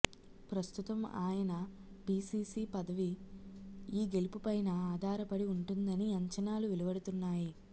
ప్రస్తుతం ఆయన పీసీసీ పదవి ఈ గెలుపు పైన ఆధారపడి ఉంటుందని అంచనాలు వెలువడుతున్నాయి